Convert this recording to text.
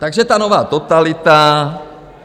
Takže ta nová totalita.